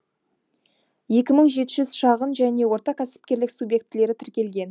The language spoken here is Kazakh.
екі мың жеті жүз шағын және орта кәсіпкерлік субьектілері тіркелген